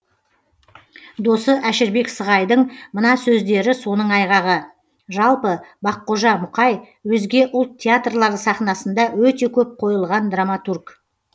досы әшірбек сығайдың мына сөздері соның айғағы жалпы баққожа мұқаи өзге ұлт театрлары сахнасында өте көп қойылған драматург